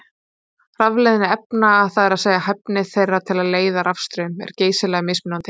Rafleiðni efna, það er að segja hæfni þeirra til að leiða rafstraum, er geysilega mismunandi.